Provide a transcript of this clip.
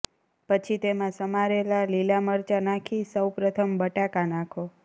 પછી તેમા સમારેલા લીલા મરચા નાખી સૌ પ્રથમ બટાકા નાખો